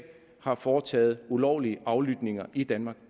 har foretaget ulovlige aflytninger i danmark